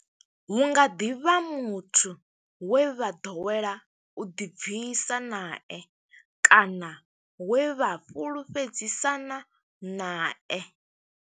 Hu nga ḓi vha muthu we vha ḓowela u ḓibvisa nae kana we vha fhulufhedzisana nae.